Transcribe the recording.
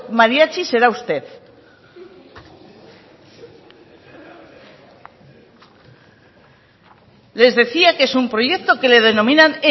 mariachi será usted les decía que es un proyecto que le denominan